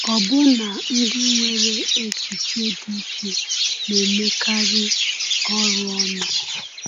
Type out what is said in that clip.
Ọbụna ndị nwere echiche dị iche na-emekarị ọrụ ọnụ.